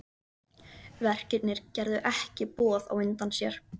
Verkirnir gerðu ekki boð á undan sér.